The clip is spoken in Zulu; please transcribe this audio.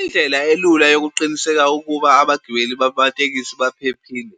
Indlela elula yokuqiniseka ukuba abagibeli babatekisi baphephile